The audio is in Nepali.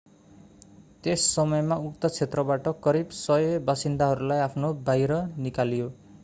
त्यस समयमा उक्त क्षेत्रबाट करिब 100 बासिन्दाहरूलाई बाहिर निकालियो